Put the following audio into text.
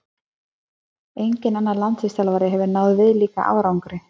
Enginn annar landsliðsþjálfari hefur náð viðlíka árangri.